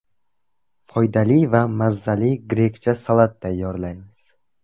Foydali va mazali grekcha salat tayyorlaymiz.